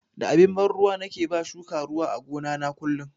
Da abin ban ruwa nake ba shuka ruwa a gona na kullun.